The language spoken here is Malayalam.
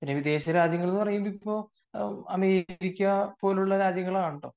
ഇനി വിദേശ രാജ്യങ്ങൾ എന്ന് പറയുമ്പോൾ അമേരിക്ക പോലുള്ള രാജ്യങ്ങളാണല്ലോ